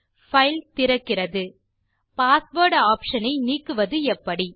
file திறக்கிறது password option ஐ நீக்குவது எப்படி